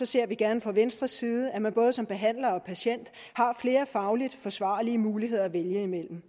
ser vi gerne fra venstre side at man både som behandler og patient har flere fagligt forsvarlige muligheder at vælge imellem